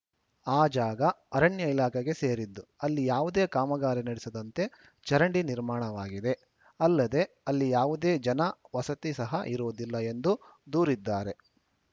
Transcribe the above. ಆ ಜಾಗ ಅರಣ್ಯ ಇಲಾಖೆಗೆ ಸೇರಿದ್ದು ಅಲ್ಲಿ ಯಾವುದೇ ಕಾಮಗಾರಿ ನಡೆಸದಂತೆ ಚರಂಡಿ ನಿರ್ಮಾಣವಾಗಿದೆ ಅಲ್ಲದೇ ಅಲ್ಲಿ ಯಾವುದೇ ಜನ ವಸತಿ ಸಹ ಇರುವುದಿಲ್ಲ ಎಂದು ದೂರಿದ್ದಾರೆ